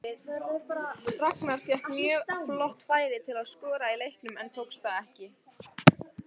Ragnar fékk mjög gott færi til að skora í leiknum en tókst það ekki.